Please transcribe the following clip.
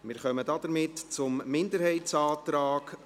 Wir kommen damit zum Minderheitsantrag